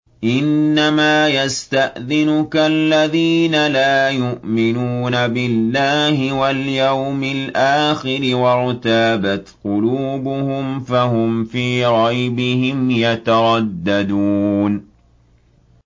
إِنَّمَا يَسْتَأْذِنُكَ الَّذِينَ لَا يُؤْمِنُونَ بِاللَّهِ وَالْيَوْمِ الْآخِرِ وَارْتَابَتْ قُلُوبُهُمْ فَهُمْ فِي رَيْبِهِمْ يَتَرَدَّدُونَ